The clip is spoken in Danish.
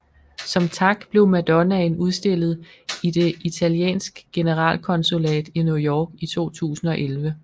Som tak blev Madonnaen udstillet i det italiensk generalkonsulat i New York i 2011